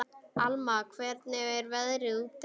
Alma, hvernig er veðrið úti?